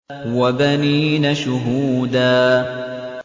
وَبَنِينَ شُهُودًا